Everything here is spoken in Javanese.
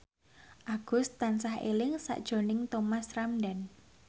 Agus tansah eling sakjroning Thomas Ramdhan